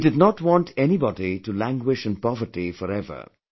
He did not want anybody to languish in poverty forever